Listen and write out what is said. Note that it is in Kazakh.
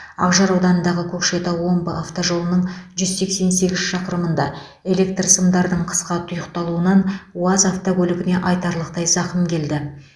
ақжар ауданындағы көкшетау омбы автожолының жүз сексен сегіз шақырымында электр сымдардың қысқа тұйықталуынан уаз автокөлігіне айтарлықтай зақым келді